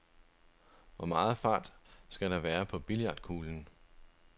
Hvor meget fart skal der være på billiardkuglen?